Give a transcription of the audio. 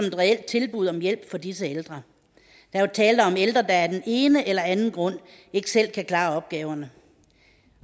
et reelt tilbud om hjælp til disse ældre der er jo tale om ældre der af den ene eller anden grund ikke selv kan klare opgaverne